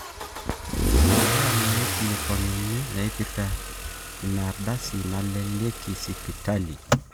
imbaa naaikilikuanuni naaipirta inaardasi nalakieki sipitali